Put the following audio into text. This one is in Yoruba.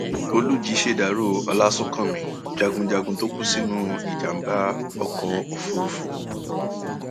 olùjì ṣèdàrọ ọlásúnkámì jagunjagun tó kú sínú ìjàmbá ọkọ òfúrufú